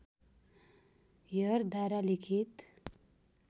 हेयरद्वारा लिखित